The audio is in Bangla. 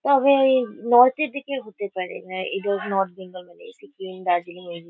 তবে নর্থ -এর দিকের হতে পারে না এরকম নর্থ বেঙ্গল মানে সিকিম দার্জিলিং এইগু --